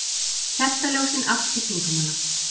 Kertaljósin allt í kringum hana.